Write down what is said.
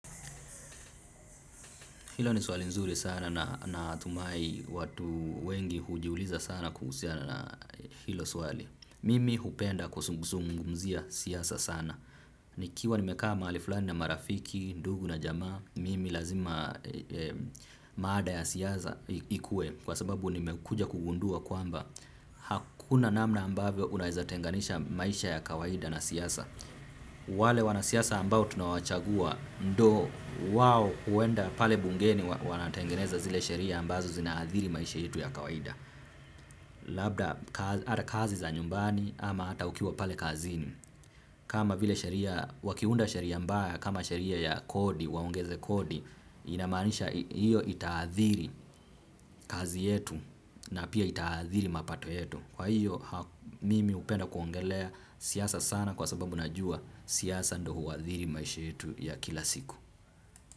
Hilo ni swali nzuri sana na natumai watu wengi hujiuliza sana kuhusiana na hilo swali. Mimi hupenda kuzungumzia siasa sana. Nikiwa nimekaa mahali fulani na marafiki, ndugu na jamaa, mimi lazima maada ya siasa ikuwe kwa sababu nimekuja kugundua kwamba. Hakuna namna ambavyo unaweza tenganisha maisha ya kawaida na siasa. Wale wanasiasa ambao tunawachagua ndio wao huenda pale bungeni wanatengeneza zile sheria ambazo zina athiri maisha yetu ya kawaida. Labda ata kazi za nyumbani ama ata ukiwa pale kazini kama vile sheria wakiunda sheria mbaya kama sheria ya kodi waongeze kodi. Inamanisha hiyo itaathiri kazi yetu na pia ita athiri mapato yetu. Kwa hiyo mimi upenda kuongelea siasa sana kwa sababu najua siasa ndio huwa athiri maisha yetu ya kila siku.